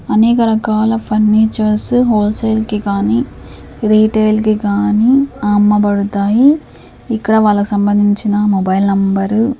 అనేక రకాల furnitures wholesale కి గాని రీటేల్ కి గాని అమ్మబడతాయి. ఇక్కడ వాళ్ళకి సంబంధించిన మొబైల్ నెంబర్ --